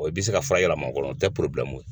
i bɛ se ka fura yɛlɛma o kɔnɔ o tɛ ye.